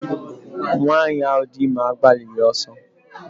Nwanyị ahụ dị ime agbalighi ọsọ